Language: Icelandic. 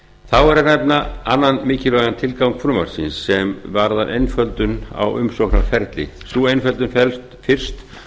þá er að nefna annan mikilvægan tilgang frumvarpsins sem varðar einföldun á umsóknarferli sú umfjöllun felst fyrst og